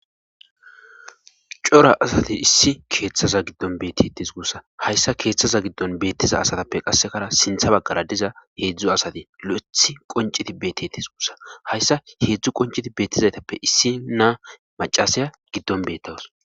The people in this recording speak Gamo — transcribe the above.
cora asati issi keeththaza giddon beettitis gussa hayssa keeththaza giddon beettiza asatappe qassekara sintha baggara diza heedzdzu asati lo7ethi qonciti beettitis guussa hayssa heedzdzu qonciti beettizaytappe issi naa macasaya giddon beettawus